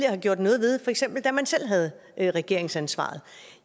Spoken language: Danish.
har gjort noget ved for eksempel da man selv havde regeringsansvaret